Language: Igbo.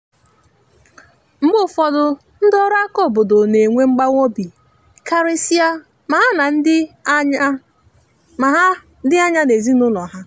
mgbe ụfọdụ ndị ọrụ aka obodo na enwe mgbawa obi karịsịa ma ha dị anya n’ezinụlọ ha.